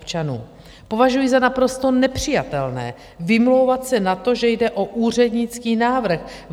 Považuji za naprosto nepřijatelné vymlouvat se na to, že jde o úřednický návrh.